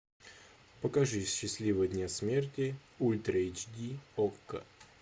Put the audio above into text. покажи счастливого дня смерти ультра эйч ди окко